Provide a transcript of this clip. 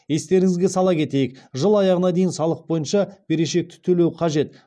естеріңізге сала кетейік жыл аяғына дейін салық бойынша берешекті төлеу қажет